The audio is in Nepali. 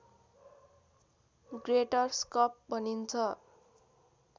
ग्रेटर स्कप भनिन्छ